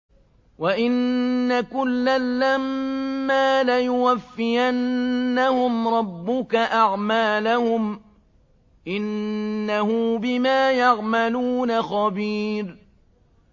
وَإِنَّ كُلًّا لَّمَّا لَيُوَفِّيَنَّهُمْ رَبُّكَ أَعْمَالَهُمْ ۚ إِنَّهُ بِمَا يَعْمَلُونَ خَبِيرٌ